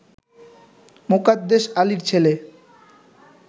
মোকাদ্দেস আলীর ছেলে